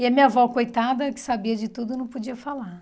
E a minha avó, coitada, que sabia de tudo, não podia falar.